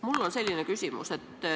Mul on selline küsimus.